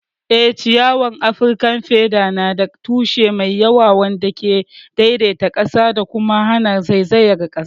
Eh, ciyawar Afirkan feather na da tushe mai yawa wanda ke daidaita ƙasa da kuma hana zaizayar ƙasa.